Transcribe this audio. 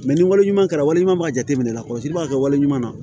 ni wale ɲuman kɛra wali ɲuman b'a jateminɛ lakɔlɔsili b'a kɛ wale ɲuman na